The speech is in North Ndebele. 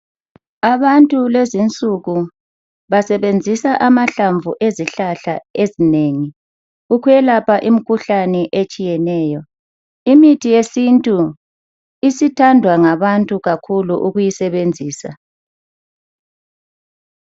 Abantu kulezinsuku basebenzisa amahlamvu ezihlahla ezinengi ukwelapha imkhuhlane etshiyeneyo. Imithi yesintu isithandwa ngabantu kakhulu ukuyisebenzisa.